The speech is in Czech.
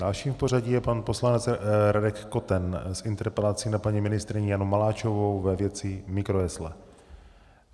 Dalším v pořadí je pan poslanec Radek Koten s interpelací na paní ministryni Janu Maláčovou ve věci mikrojesle.